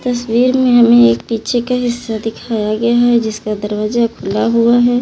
तस्वीर में हमें एक पीछे का हिस्सा दिखाया गया है जिसका दरवाजा खुला हुआ है।